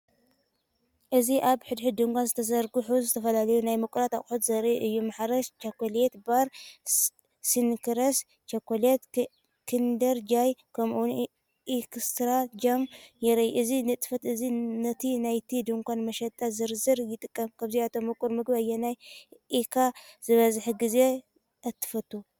እዚ ኣብ ሓደ ድኳን ዝተዘርግሑ ዝተፈላለዩ ናይ ምቁራት ኣቑሑት ዘርኢ እዩ። ማርስ ቸኮሌት ባር፡ስኒከርስ ቸኮሌት፡ኪንደር ጆይ፡ ከምኡ’ውን ኤክስትራ ጃም ይረኣዩ። እዚ ንጥፈት እዚ ነቲ ናይቲ ድኳን መሸጣ ዝርዝር ይጠቅም። ካብዞም ምቁር መግቢ ኣየናይ ኢኻ ዝበዝሕ ግዜ እተፈቱ?